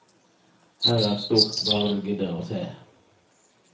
Her er stort, bare du gidder å se.